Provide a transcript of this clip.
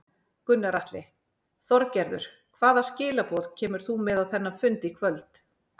Gunnar Atli: Þorgerður hvaða skilaboð kemur þú með á þennan fund í kvöld?